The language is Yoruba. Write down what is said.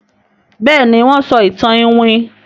Béèni wón ń sọ ìtàn iwin.